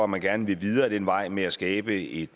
man gerne vil videre ad den vej med at skabe et